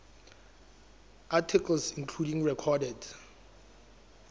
articles including recorded